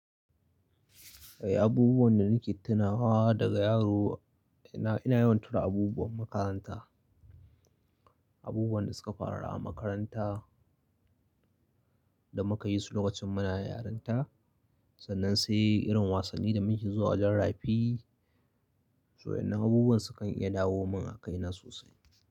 Eh, abubuwan da nake tunawa daga yaro ina, ina yawan tuna abubuwan makaranta, abubuwan da suka faru a makaranta da muka yi su lokacin muna yaranta. Sannan sai irin wasanni da muke zuwa wajen rafi, so wayanna abubuwan su kan iya dawo min a kaina sosai.